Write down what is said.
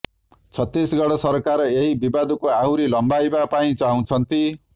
ଛତିଶଗଡ଼ ସରକାର ଏହି ବିବାଦକୁ ଆହୁରି ଲମ୍ବାଇବା ପାଇଁ ଚାହୁଁଛନ୍ତି